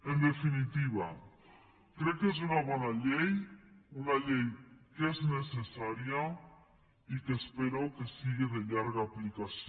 en definitiva crec que és una bona llei una llei que és necessària i que espero que sigui de llarga aplicació